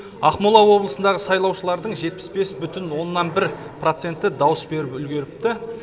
ақмола облысындағы сайлаушылардың жетпіс бес бұтін оннан бір проценті дауыс беріп үлгеріпті